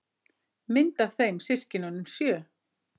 Mynd af þeim systkinunum sjö.